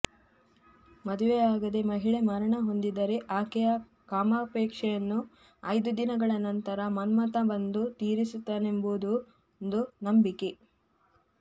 ಮದುವೆಯಾಗದೇ ಮಹಿಳೆ ಮರಣ ಹೊಂದಿದರೆ ಆಕೆಯ ಕಾಮಾಪೇಕ್ಷೆಯನ್ನು ಐದು ದಿನಗಳ ನಂತರ ಮನ್ಮಥ ಬಂದು ತೀರಿಸುತ್ತಾನೆಂಬುದೊಂದು ನಂಬಿಕೆ